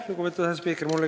Lugupeetud asespiiker!